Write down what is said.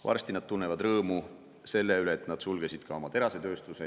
Varsti nad tunnevad rõõmu selle üle, et nad sulgesid ka oma terasetööstuse.